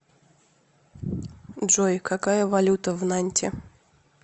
джой какая валюта в нанте